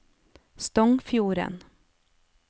Stongfjorden